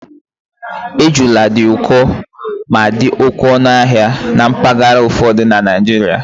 Ejula dị ụkọ ma dị ọnụ ahịa na mpaghara ụfọdụ na Naịjirịa